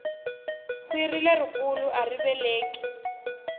kwhiri leri kulu ari laveki